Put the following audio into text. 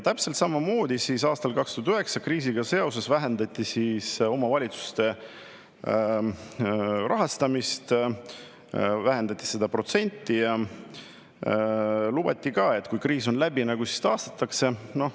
Täpselt samamoodi aastal 2009 kriisiga seoses vähendati omavalitsuste rahastamist, vähendati seda protsenti ja lubati ka, et kui kriis on läbi, siis taastatakse.